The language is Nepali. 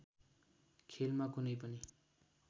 खेलमा कुनै पनि